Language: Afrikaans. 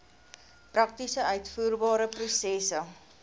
prakties uitvoerbare prosesse